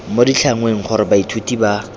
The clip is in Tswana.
mo ditlhangweng gore baithuti ba